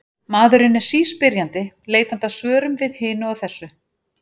Maðurinn er síspyrjandi, leitandi að svörum við hinu og þessu.